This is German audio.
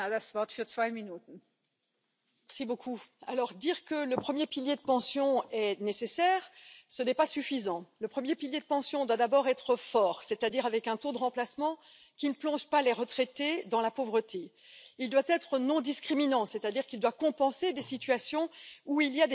Sie zahlen in das Umlageverfahren ein und ziehen die entsprechenden Erträge aus den Renten des Umlageverfahrens. Aber sie erfüllen nicht den zweiten Teil oder wenn man so will, den ersten Teil des Generationenvertrags, dass sie auch selbst Kinder zur Welt bringen und aufziehen und diese Kinder dann ihrerseits später in das Rentenversicherungssystem